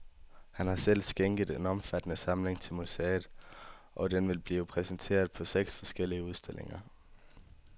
Han har selv skænket en omfattende samling til museet, og den vil blive præsenteret på seks forskellige udstillinger.